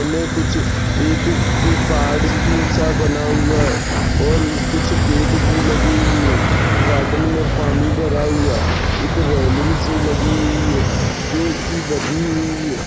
कुछ एक पहाड़ सा बना हुआ है और कुछ पेड़ भी लगे हुए है। गार्डन मे पानी भरा हुआ है। एक रेलिंगसी लगी हुई है जोकि बंदी हुई है।